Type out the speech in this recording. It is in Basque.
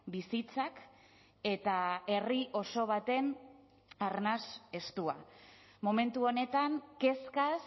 bizitzak eta herri oso baten arnas estua momentu honetan kezkaz